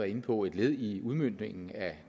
inde på et led i udmøntningen af